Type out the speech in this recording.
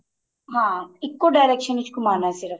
ਹਾਂ ਇੱਕੋ direction ਵਿੱਚ ਘੁੰਮਣਾ ਸਿਰਫ